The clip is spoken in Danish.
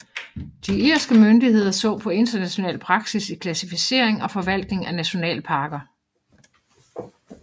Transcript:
De irske myndigheder så på international praksis i klassificering og forvaltning af nationalparker